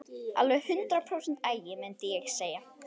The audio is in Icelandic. Alveg hundrað prósent agi, mundi ég segja.